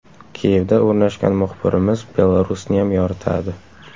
Kiyevda o‘rnashgan muxbirimiz Belarusniyam yoritadi.